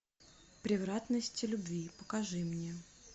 превратности любви покажи мне